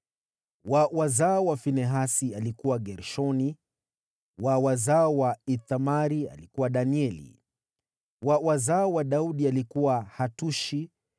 wa wazao wa Finehasi, alikuwa Gershoni; wa wazao wa Ithamari, alikuwa Danieli; wa wazao wa Daudi, alikuwa Hatushi